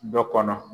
Dɔ kɔnɔ